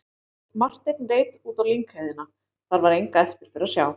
Marteinn leit út á lyngheiðina, þar var enga eftirför að sjá.